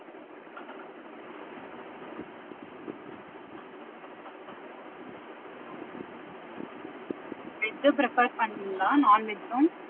Veg அ prepare பண்ணுவிங்களா non-veg உம்